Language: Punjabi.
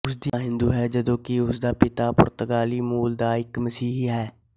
ਉਸ ਦੀ ਮਾਂ ਹਿੰਦੂ ਹੈ ਜਦੋਂ ਕਿ ਉਸਦਾ ਪਿਤਾ ਪੁਰਤਗਾਲੀ ਮੂਲ ਦਾ ਇੱਕ ਮਸੀਹੀ ਹੈ